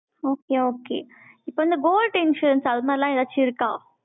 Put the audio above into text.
okay, okay இப்ப வந்து, gold insurance, அது மாதிரி எல்லாம், ஏதாச்சும் இருக்கா